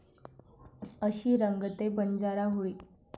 अशी रंगते बंजारा होळी!